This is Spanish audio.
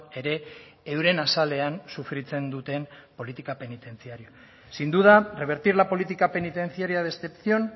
ere euren azalean sufritzen duten politika penitentziarioa sin duda revertir la política penitenciaria de excepción